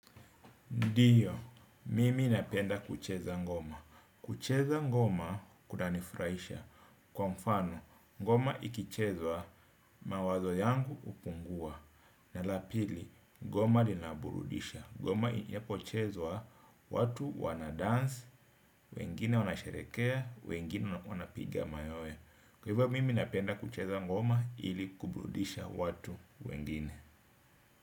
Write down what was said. Ndiyo, mimi napenda kucheza ngoma. Kucheza ngoma kunanifuraisha kwa mfano ngoma ikichezwa mawazo yangu upungua. Na la pili, ngoma linaburudisha. Ngoma inapochezwa watu wanadansi, wengine wanasherekea, wengine wanapiga mayowe. Kwa hivyo, mimi napenda kucheza ngoma ili kuburudisha watu wengine.